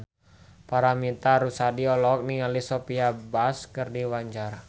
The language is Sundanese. Paramitha Rusady olohok ningali Sophia Bush keur diwawancara